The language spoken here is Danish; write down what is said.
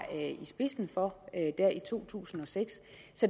i spidsen for der i to tusind og seks